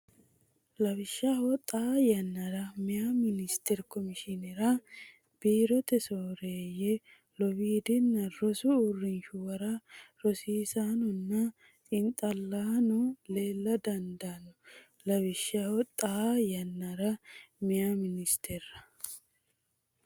Lawishshaho, xaa yannara meyaa ministerra, komishineerra, biirote sooreeyye, lowiddaanna rosu uurrinshuwara rosiisaanonna xiinxallaano leella dandiino Lawishshaho, xaa yannara meyaa ministerra,.